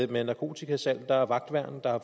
med narkotikasalg der er vagtværn der er